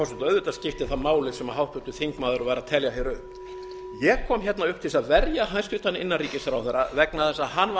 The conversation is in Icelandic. auðvitað skiptir það máli sem háttvirtur þingmaður var að telja upp ég kom upp til að verja hæstvirtur innanríkisráðherra vegna þess að hann var